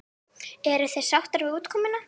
Eruð þið sáttar við útkomuna?